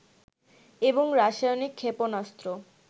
এবং রাসায়নিক ক্ষেপণাস্ত্র